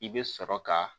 I bɛ sɔrɔ ka